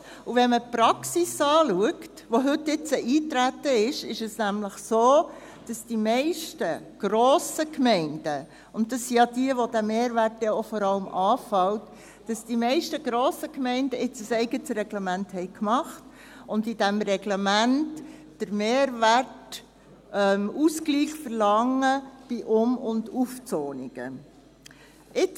Wenn man die Praxis anschaut, welche heute eingetreten ist, ist es nämlich so, dass die meisten grossen Gemeinden – und das sind jene, in welchen der Mehrwert vor allem anfällt – ein eigenes Reglement gemacht haben und in diesem Reglement den Mehrwertausgleich bei Um- und Aufzonungen verlangen.